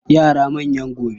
Yara manyan gobe